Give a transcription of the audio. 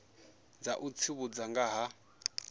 dza u tsivhudza nga ha